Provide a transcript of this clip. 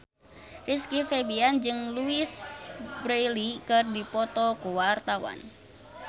Rizky Febian jeung Louise Brealey keur dipoto ku wartawan